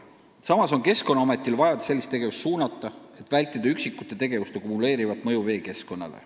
Samas on Keskkonnaametil vaja sellist tegevust suunata, et vältida üksikute sääraste tegevuste kumuleerivat mõju veekeskkonnale.